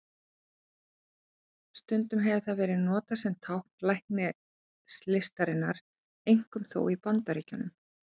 Stundum hefur það verið notað sem tákn læknislistarinnar, einkum þó í Bandaríkjunum.